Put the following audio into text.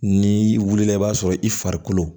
N'i wulila i b'a sɔrɔ i farikolo